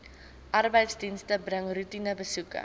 arbeidsdienste bring roetinebesoeke